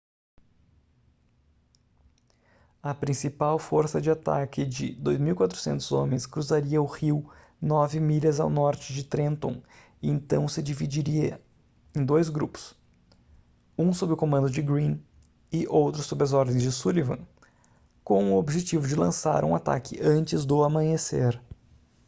a principal força de ataque de 2.400 homens cruzaria o rio nove milhas ao norte de trenton e então se dividiria em dois grupos um sob o comando de greene e outro sob as ordens de sullivan com o objetivo de lançar um ataque antes do amanhecer